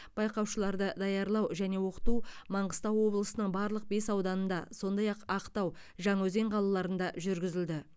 байқаушыларды даярлау және оқыту маңғыстау облысының барлық бес ауданында сондай ақ ақтау және жаңаөзен қалаларында жүргізілді